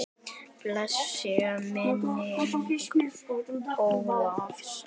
Blessuð sé minning Ólafs.